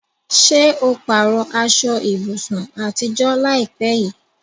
Ṣé o pààrọ̀ aṣọ ibùsùn àtijọ́ láìpẹ́ yìí?